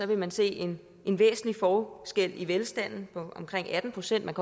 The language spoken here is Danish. vil man se en en væsentlig forskel i velstanden på omkring atten procent man